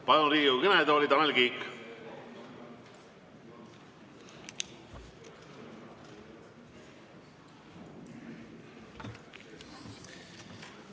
Palun Riigikogu kõnetooli, Tanel Kiik!